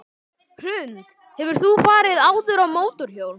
Hrund: Hefur þú farið áður á mótorhjól?